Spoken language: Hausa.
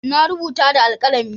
Na rubuta da alkalami.